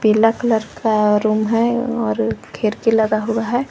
Black colour का room है और खिड़की लगा हुआ है।